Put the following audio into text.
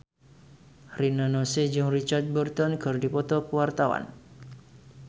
Rina Nose jeung Richard Burton keur dipoto ku wartawan